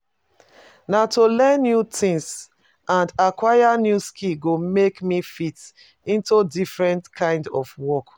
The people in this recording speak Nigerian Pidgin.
Na to learn new tings and aquire new skills go make me fit into different kinds of work.